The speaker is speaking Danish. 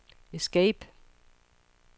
escape